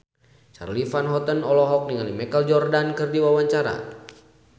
Charly Van Houten olohok ningali Michael Jordan keur diwawancara